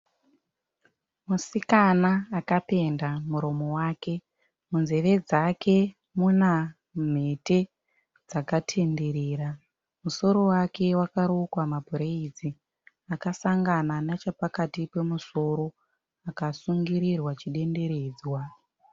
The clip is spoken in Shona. Musikana akapenda muromo wake munzeve dzake muna mhete dzakatenderera. Musoro wake wakarukwa mabhuredzi akasangana nechapakati pemusoro akasungirirwa chidenderedzwa.